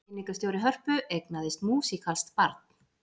Kynningarstjóri Hörpu eignaðist músíkalskt barn